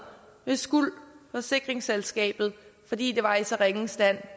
hos skuld forsikringsselskabet fordi det var i så ringe en stand